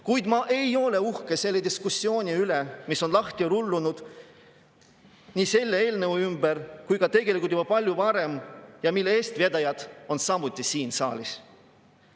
Kuid ma ei ole uhke selle diskussiooni üle, mis on lahti rullunud nii selle eelnõu ümber kui tegelikult ka juba palju varem ja mille eestvedajad on samuti siin saalis.